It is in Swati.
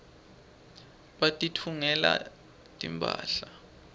batitfungela timphahla